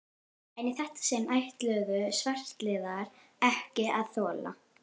En í þetta sinn ætluðu svartliðar ekki að þola